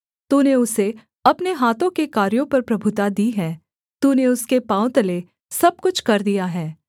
तूने उसे अपने हाथों के कार्यों पर प्रभुता दी है तूने उसके पाँव तले सब कुछ कर दिया है